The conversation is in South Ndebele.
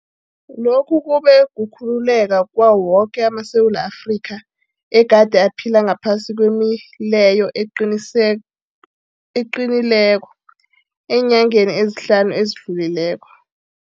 Lokhu kube kukhululeka kwawo woke amaSewula Afrika egade aphila ngaphasi kwemileyo eqinileko eenyangeni ezihlanu ezidlulileko.